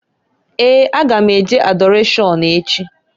Ee! A ga m e je Adọrashọn echi.